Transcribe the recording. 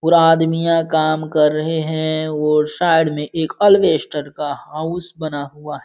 पूरा आदमी यहां काम कर रहे है और साइड में एक एलवेस्टर का हाउस बना हुआ --